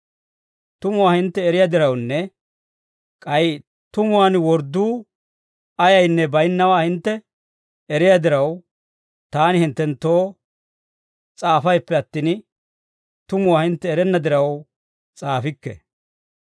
Tumuwaa hintte eriyaa dirawunne k'ay tumuwaan wordduu ayaynne bayinnawaa hintte eriyaa diraw, taani hinttenttoo s'aafayppe attin, tumuwaa hintte erenna diraw s'aafikke.